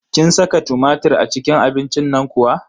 Kin saka tumatir a cikin abincin nan kuwa?